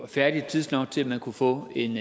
færdig tidsnok til at man kunne få en